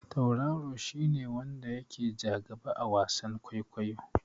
Tauraro shi ne wanda ya ke ja gaba a wasan kwaikwayo.